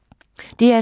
DR2